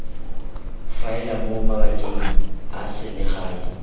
faela mo mabakeng a selegae